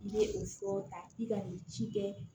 I ye o fɔ ta i ka nin ci kɛ